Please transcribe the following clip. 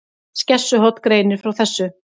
Skessuhorn greinir frá þessu